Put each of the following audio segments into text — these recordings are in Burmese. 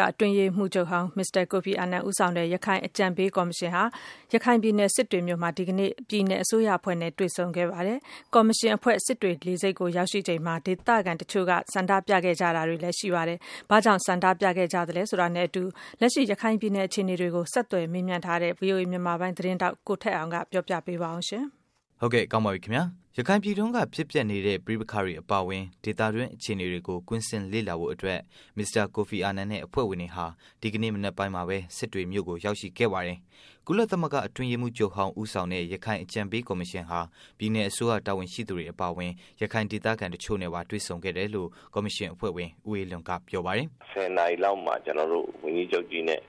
ဂအတွင်းရေးမှူးချုပ်ဟောင်း မစ္စတာ ကိုဖီအာနန် ဦးဆောင်တဲ့ ရခိုင်အကြံပေးကော်မရှင်ဟာ ဒီကနေ့မှာပဲ ရခိုင်ပြည်နယ် စစ်တွေမြို့ကို သွားရောက်ပြီး ပြည်နယ် အစိုးရအဖွဲ့နဲ့ တွေ့ဆုံခဲ့ပါတယ်။ ကော်မရှင်အဖွဲ့ စစ်တွေလေဆိပ်ကို ရောက်ရှိချိန်မှာ ဒေသခံတချို့ရဲ့ ဆန္ဒပြမှုတွေနဲ့လည်း ကြုံခဲ့ရတာပါ။ အပြည့်အစုံကိုတော့ ဆက်သွယ်မေးမြန်းထားတဲ့ ဗွီအိုအေ မြန်မာပိုင်း သတင်းထောက် ကိုထက်အောင်က တင်ပြပေးမှာပါ။ ရခိုင်ပြည်တွင်းက ဖြစ်ပျက်နေတဲ့ ပဋိပက္ခတွေအပါအဝင် ဒေသတွင်း အခြေအနေတွေကို ကွင်းဆင်းလေ့လာဖို့အတွက် မစ္စတာ ကိုဖီအာနန်နဲ့ အဖွဲ့ဝင်တွေဟာ ဒီကနေ့ မနက်ပိုင်းမှာ စစ်တွေမြို့ကို ရောက်ရှိခဲ့ပါတယ်။ ကုလသမဂ္ဂအတွင်းရေးမှူးချုပ်ဟောင်း ဦးဆောင်တဲ့ ရခိုင်ကော်မရှင်ဟာ ပြည်နယ် အစိုးရတာဝန်ရှိသူတွေအပါအဝင် ရခိုင်ဒေသခံ တစ်ချို့နဲ့ပါ တွေ့ဆုံခဲ့တယ် လို့ ကော်မရှင် အဖွဲ့ဝင် ဦးအေးလွင်က ပြောပါတယ်။ " ၁၀နာရီလောက်မှာ ဝန်ကြီးချုပ်နဲ့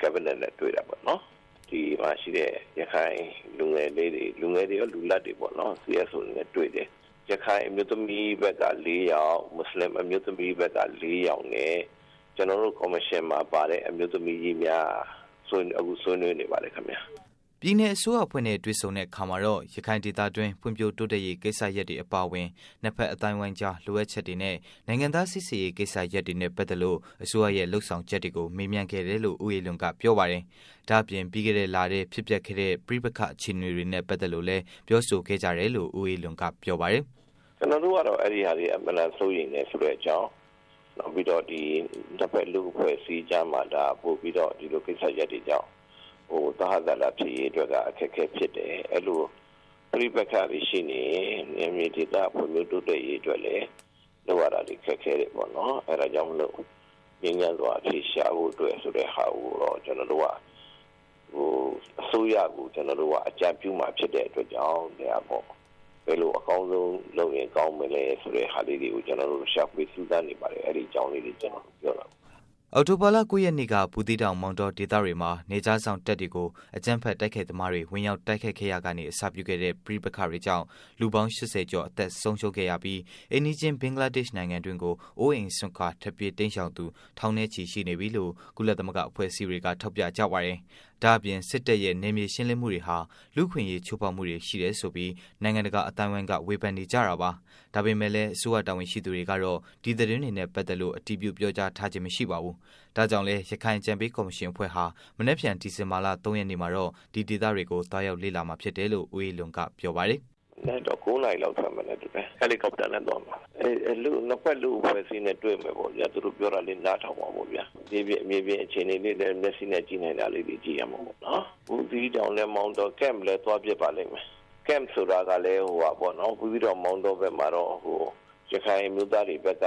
ကက်ဘိနက်နဲ့တွေ့တာပေါ့နော်။ ဒီမှာရှိတဲ့ ရခိုင်လူငယ်တွေရော၊ လူလတ်တွေရောပေါ့၊ CSO တွေရောပေါ့။ ရခိုင်အမျိုးသမီး ဘက်က ယောက်၊ မူဆလင်အမျိုးသမီးဘက်က ယောက်ပေါ့။ ကျနော်တို့ ကော်မရှင် မှာ ပါတဲ့ အမျိုးသမီးများက အခုဆွေးနွေးနေပါတယ်ခင်ဗျာ။" ပြည်နယ်အစိုးရအဖွဲ့နဲ့ တွေ့တဲ့အခါမှာတော့ ရခိုင်ဒေသတွင်း ဖွံ့ဖြိုးတိုးတက်ရေး ကိစ္စရပ်တွေအပါအဝင် နှစ်ဖက် အသိုင်းအဝိုင်းကြား လိုအပ်ချက်တွေနဲ့ နိုင်ငံသား စိစစ်ရေး ကိစ္စရပ်တွေနဲ့ ပက်သက်လို့ အစိုးရရဲ့လုပ်ဆောင်ချက်တွေ ကို မေးမြန်းခဲ့တယ်လို့ ဦးအေးလွင်က ဆိုပါတယ်။ ဒါ့အပြင် ပြီးခဲ့တဲ့လထဲ ဖြစ်ပျက်ခဲ့တဲ့ ပဋိပက္ခအခြေအနေနဲ့ ပတ်သတ်လို့လည်း ပြောဆိုခဲ့ကြတယ်လို့ ဦးအေးလွင်က ပြောပါတယ်။ " ကျနော်တို့ကတော့ အဲ့တာတွေကို စိုးရိမ်တယ်ဆိုတဲ့ အကြောင်း နောက်ပြီး နှစ်ဘက် လူ့အဖွဲ့အစည်းကြားမှာ ဒါ ပိုပြီး ဒီလိုကိစ္စတွေကြောင့် သဟဇာတဖြစ်ရေးအတွက် အခက်အခဲဖြစ်တယ်။ အဲ့ဒီ့လို ပဋိပက္ခတွေရှိနေရင် နယ်မြေဒေသ ဖွံ့ဖြိုးတိုးတက်ရေး အတွက်လည်း လုပ်ရတာတွေ ခက်ခဲတယ်ပေါ့နော် အဲ့တာကြောင့်မို့လို့ ငြိမ်းချမ်းစွာ အဖြေရှာဖို့ဆိုတဲ့ဟာကို အစိုးရကို ကျနော်တို့က အကြံပြုမှာဖြစ်တဲ့အတွက်ကြောင့် ဘယ်လိုအကောင်းဆုံးဖြစ်အောင် လုပ်မလဲဆိုတဲ့ဟာလေးတွေကို ကျနော်တို့ ရှာဖွေစူးစမ်းနေပါတယ်။" အောက်တိုဘာလ ၉ ရက်နေ့က ဘူးသိးတောင် မောင်တောဒေသတွေမှာ နယ်ခြားစောင့်တပ်တွေကို အကြမ်းဖက် တိုက်ခိုက်သမားတွေ ဝင်ရောက် တိုက်ခဲ့ရာကနေ အစပြုခဲ့တဲ့ ပဋိပက္ခတွေကြောင့် လူပေါင်း ၈၀ ကျော် အသက်ဆုံးရှုံးခဲ့ရပြီး၊ အိမ်နိးချင်း ဘင်္ဂလားဒေ့ရှ်နိုင်ငံတွင်းကို အိုးအိမ်စွန့်ခွာ ထွက်ပြေးတိမ်းရှောင်သူ ထောင်နဲ့ချီရှိနေတယ်လို့ ကုလသမဂ္ဂ အဖွဲ့အစည်းတွေက ထောက်ပြကြပါတယ်။ ဒါ့အပြင် စစ်တပ်ရဲ့ နယ်မြေရှင်းလင်းမှုတွေဟာ လူ့အခွင့်အရေး ချိုးဖောက်မှုတွေ ရှိတယ် ဆိုပြီး နိုင်ငံတကာအသိုင်းအဝိုင်းက ဝေဖန်နေကြတာပါ။ ဒါပေမဲ့လည်း အစိုးရတာဝန်ရှိသူတွေကတော့ ဒီသတင်းတွေနဲ့ ပက်သတ်လို့ အတည်ပြု ပြောကြားထားခြင်း မရှိပါဘူး။ ဒါကြောင့်လည်း ရခိုင်အကြံပေး ကော်မရှင် အဖွဲ့ဟာ မနက်ဖြန် ဒီဇင်ဘာလ ၃ ရက်နေ့မှာတော့ ဒီဒေသတွေကို သွားရောက်လေ့လာမှာ ဖြစ်တယ်လို့ ဦးအေးလွင်က ပြောပါတယ် " မနက်ကျရင် ၉နာရီလောက် ထွက်မယ်ထင်တယ်။ ဟယ်လီကော်ပတာနဲ့ သွားမှာ။ နှစ်ဘက်လူ့အဖွဲ့အစည်းနဲ့တွေ့မယ်ပေါ့ဗျာ။ သူတို့ပြောတာ နားထောင်မှာပေါ့။ မြေပြင်အခြေအနေလည်း မျက်စိနဲ့ကြည့်နိုင်တာလေးလည်း ကြည့်ရမှာပေါ့။ ဘူးသီးတောင်နဲ့မောင်တော ကမ့်လည်း သွားဖြစ်ပါလိမ့်မယ်။ ကမ့်ဆိုတာကတော့ ဘူးသီးတောင် မောင်တောဘက်မှာတော့ ရခိုင်အမျိုးသားတွေဘက်က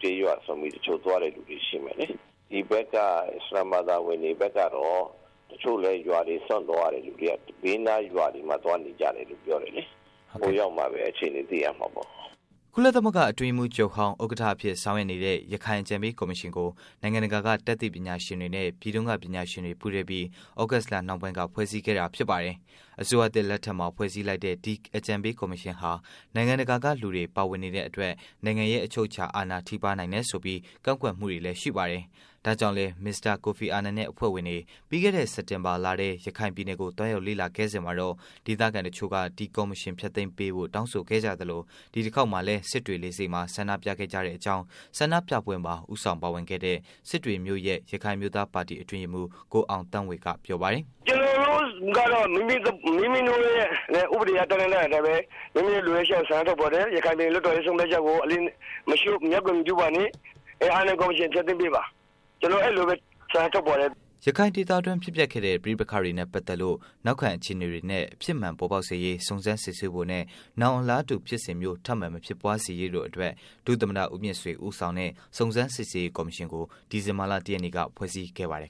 ကျေးရွာစွန့်ပြီး တချို့သွားမယ့်သူတွေရှိမယ်လေ။ ဒီဘက်က အစ္စလာမ်ဘာသာဝင်တွေဘက်ကတော့ တချို့လည်း ရွာတွေစွန့်ပြီး ဘေးနားရွာတွေမှာ သွားနေကြတယ်လို့ပြောတယ်လေ။ ဟိုရောက်မှပဲ အခြေအနေ သိရမှာပေါ့။" ကုလသမဂ္ဂအတွင်းရေးမှုးချုပ်ဟောင်း ဥက္ကဋ္ဌအဖြစ် ဆောင်ရွက်နေတဲ့ ရခိုင်အကြံပေးကော်မရှင်ကိုနိုင်ငံတကာက တတ်သိပညာရှင်တွေနဲ့ ပြည်တွင်းက ပညာရှင်တွေ ပူးတွဲပြီး သြဂုတ်လ နောက်ပိုင်းက ဖွဲ့စည်းခဲ့တာဖြစ်ပါတယ်။ အစိုးရသစ်လက်ထက်မှာ ဖွဲ့စည်းလိုက်တဲ့ ဒီအကြံပေးကော်မရှင်ဟာ နိုင်ငံတကာက လူတွေ ပါဝင်နေတဲ့အတွက် နိုင်ငံရဲ့ အချုပ်အခြာ အာဏာထိပါးစေနိုင်တယ်ဆိုပြီး ကန့်ကွက်မှုတွေလည်း ရှိပါတယ်။ ဒါကြောင့်လည်း မစ္စတာကိုဖီအာနန်နဲ့ အဖွဲ့ဝင်တွေ ပြီးခဲ့တဲ့ စက်တင်ဘာလထဲ ရခိုင်ပြည်နယ်ကို သွားရောက် လေ့လာခဲ့စဉ်မှာတော့ ဒေသခံ တစ်ချို့က ဒီကော်မရှင် ဖျက်သိမ်းပေးဖို့ တောင်းဆိုခဲ့ကြသလို ဒီတစ်ခေါက်မှာလည်း စစ်တွေ လေဆိပ်မှာ ဆန္ဒပြခဲ့ကြတဲ့အကြောင်း ဆန္ဒပြပွဲမှာ ဦးဆောင်ပါဝင်ခဲ့တဲ့စစ်တွေမြို့ရဲ့ ရခိုင်အမျိုးသား ပါတီ အတွင်းရေးမှူး ကိုအောင်သန်းေ၀ ပြောပါတယ်။ " ကျနော်တို့တွေကတော့ မိမိတိုရဲ့ဥပဒေက ပြဌာန်းထားတဲ့အတိုင်းပဲ မိမိတို့ရဲ့ လိုအပ်ချက် ဆန္ဒကို ထုတ်ဖော်တယ်။ ရခိုင်ပြည်နယ် လွှတ်တော်ရဲ့ ဆုံးဖြတ်ချက်ကို အလေးမပြု မျက်ကွယ်မပြုပါနဲ့ ရခိုင်ပြည်နယ် ကော်မရှင် ဖျက်သိမ်းပေးပါ။ ကျနော်တို့ အဲ့လိုပဲ ဆန္ဒထုတ်ဖော်တယ်။" ရခိုင်ဒေသတွင်း ဖြစ်ပျက်ခဲ့တဲ့ ပဋိပက္ခတွေနဲ့ ပတ်သတ်လို့ နောက်ခံ အခြေအနေများနှင့် အဖြစ်မှန်ပေါ်ပေါက်စေရေး စုံစမ်းစစ်ဆေးဖို့နဲ့ နောင် အလားတူ ဖြစ်စဉ်မျိုး ထပ်မံမဖြစ်ပွားစေရေးတို့အတွက် ဒုသမ္မတ ဦးမြင့်ဆွေ ဦးဆောင်တဲ့ စုံစမ်းစစ်ဆေးရေး ကော်မရှင်ကို ဒီဇင်ဘာလ ၁ ရက်နေ့က ဖွဲ့စည်းခဲ့ပါတယ်